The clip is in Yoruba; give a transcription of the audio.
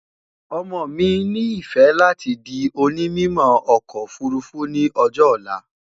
ọmọ mí ní ifẹ láti di òní mímọ okò òfurufú ní ọjọ olá